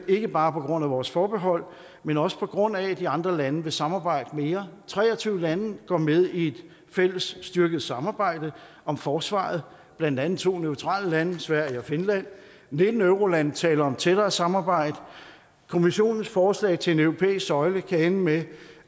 ikke bare på grund af vores forbehold men også på grund af at de andre lande vil samarbejde mere tre og tyve lande går med i et fælles styrket samarbejde om forsvaret blandt andet to neutrale lande sverige og finland og nitten eurolande taler om et tættere samarbejde kommissionens forslag til en europæisk søjle kan ende med